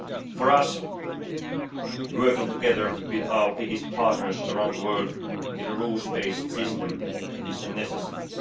For us, working together with our biggest partners around the world in a rules based system is a necessity.